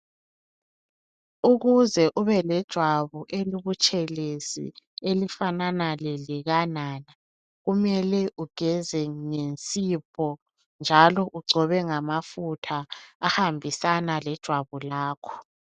Ukuze ube lejwabu elibutshelezi elifanana lelika nana kumele ugeze ngensipho njalo ugcobe ngamafutha ahambisana lejwabu lakho.